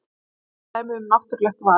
Einfalt dæmi um náttúrulegt val.